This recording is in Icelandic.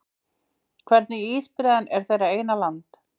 Hvernig ísbreiðan er þeirra eina land